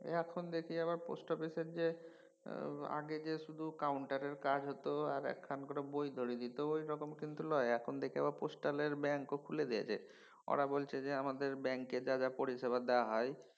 এখন দেখি আবার পোস্টঅফিসের যে আগে যে শুধু counter এর কাজ হত আর একখান করে বই ধরিয়ে দিত সেরকম কিন্তু লয় এখন দেখি আবার postal এর ব্যাঙ্কও খুলে দিয়েছে। ওরা বলছে যে আমাদের ব্যাকে যা যা পরিষেবা দেওয়া হয়